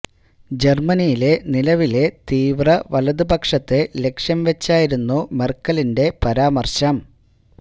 ജർമനിയിലെ നിലവിലെ തീവ്ര വലത് പക്ഷത്തെ ലക്ഷ്യം വച്ചായിരുന്നു മെർക്കലിന്റെ പരാമർശം